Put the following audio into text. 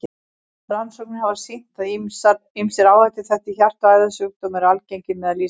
Rannsóknir hafa sýnt, að ýmsir áhættuþættir hjarta- og æðasjúkdóma eru algengir meðal Íslendinga.